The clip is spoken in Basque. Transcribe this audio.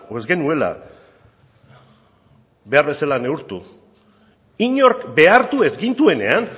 ez genuela behar bezala neurtu inork behartu ez gintuenean